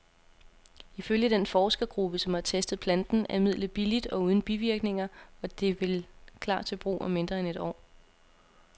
Ifølge den forskergruppe, som har testet planten, er midlet billigt og uden bivirkninger, og det vil klar til brug om mindre end et år.